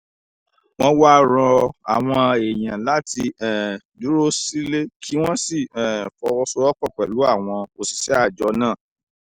wọ́n wá ń rọ àwọn èèyàn láti um dúró sílé kí wọ́n sì um fọwọ́sowọ́pọ̀ pẹ̀lú àwọn òṣìṣẹ́ àjọ náà